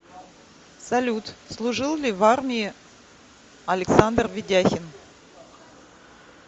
салют служил ли в армии александр ведяхин